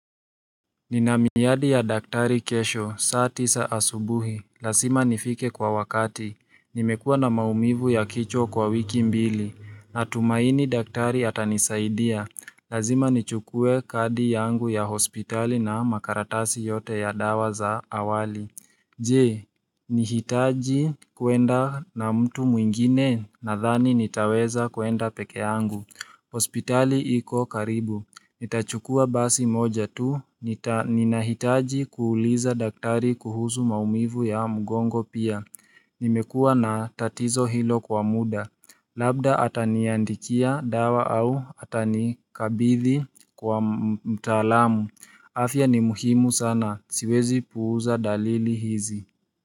Nina miyadi ya daktari kesho, saa tisa asubuhi, lazima nifike kwa wakati, nimekuwa na maumivu ya kichwa kwa wiki mbili, natumaini daktari atanisaidia, lazima nichukue kadi yangu ya hospitali na makaratasi yote ya dawa za awali. Je, nihitaji kuenda na mtu mwingine nadhani nitaweza kuenda peke yangu. Hospitali iko karibu. Nitachukua basi moja tu. Ninahitaji kuuliza daktari kuhusu maumivu ya mgongo pia. Nimekuwa na tatizo hilo kwa muda. Labda ataniandikia dawa au atanikabithi kwa mtaalamu. Afya ni muhimu sana siwezi puuza dalili hizi.